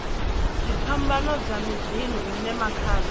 dziphambano dza miḓini hune makhadzi